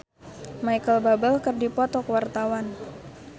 Lola Amaria jeung Micheal Bubble keur dipoto ku wartawan